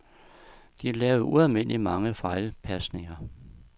De lavede ualmindelig mange fejlpasninger.